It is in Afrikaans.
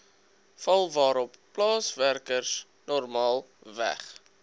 val waarop plaaswerkersnormaalweg